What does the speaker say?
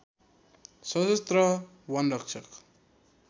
सशस्त्र वन रक्षक